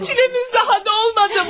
Çiləmiz daha dolmadı mı?